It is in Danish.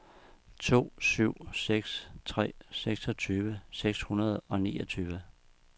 to syv seks tre seksogtyve seks hundrede og niogtyve